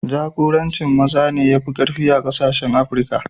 Jakorancin maza ne ya fi ƙarfi a kasashen Afrika.